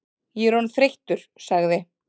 Ég er orðinn þreyttur sagði